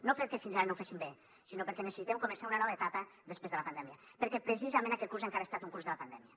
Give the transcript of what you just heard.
no perquè fins ara no ho féssim bé sinó perquè necessitem començar una nova etapa després de la pandèmia perquè precisament aquest curs encara ha estat un curs de la pandèmia